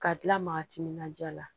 Ka tila maa timinandiya la